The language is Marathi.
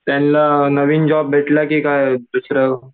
त्यांना नवीन जॉब भेटलं की काय दुसरं?